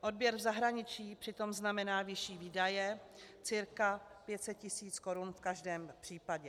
Odběr v zahraničí přitom znamená vyšší výdaje - cca 500 tisíc korun v každém případě.